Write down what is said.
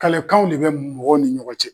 Kalekanw de bɛ mɔgɔw ni ɲɔgɔn cɛ.